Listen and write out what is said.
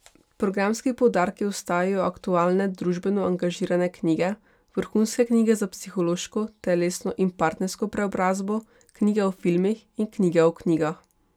Programski poudarki ostajajo aktualne družbeno angažirane knjige, vrhunske knjige za psihološko, telesno in partnersko preobrazbo, knjige o filmih in knjige o knjigah.